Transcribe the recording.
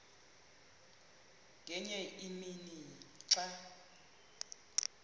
ngenye imini xa